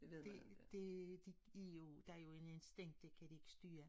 Det det de jo der jo en instinkt det kan de ikke styre